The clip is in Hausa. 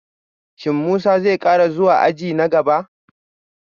Shin Musa zai kara zuwa aji na gaba?